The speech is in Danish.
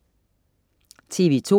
TV2: